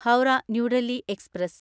Howrah New Delhi express